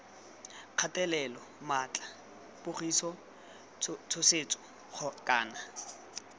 kgatelelo maatla pogiso tshosetso kana